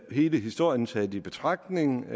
hele historien taget i betragtning